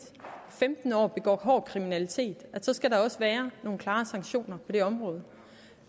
femten år begår hård kriminalitet så skal der også være nogle klare sanktioner på det område